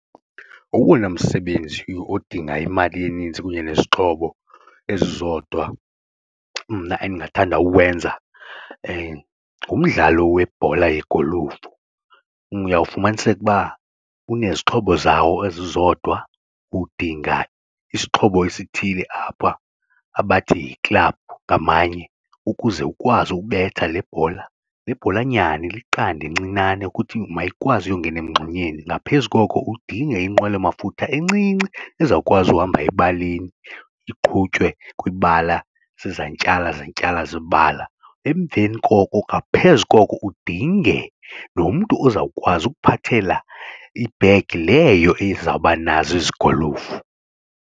Owona msebenzi odinga imali eninzi kunye nezixhobo ezizodwa mna endingathanda uwenza ngumdlalo webhola yegolufu. Uyawufumaniseka uba unezixhobo zawo ezizodwa udinga isixhobo esithile apha abathi yi-club ngamanye ukuze ukwazi ukubetha le bhola, le bhola nyana iliqanda encinane ukuthi mayikwazi uyongena emngxunyeni, ngaphezu koko udinge inqwelomafutha encinci ezawukwazi uhamba ebaleni iqhutywe kwibala zizantyala zantyala zebala. Emveni koko ngaphezu koko udinge nomntu ozawukwazi ukuphathela ibhegi leyo ezawuba nazo ezi golufu.